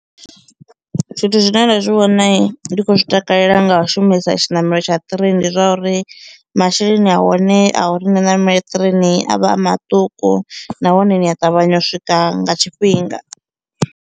Zwithu zwine nda zwi vhona ndi khou zwi takalela nga u shumisa tshinamelo tsha ṱireini ndi zwa uri masheleni ahone a uri ndi ṋamele ṱireini a vha a maṱuku, nahone ni a ṱavhanya u swika nga tshifhinga.